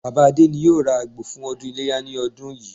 Bàbá Adé yóò ra àgbò fún ọdún Iléyá ní ọdún yìí